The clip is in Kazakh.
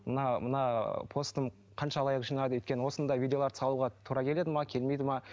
мына мына постым қанша лайк жинады өйткені осындай видеоларды салуға тура келеді ме келмейді ме